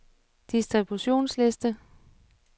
distributionsliste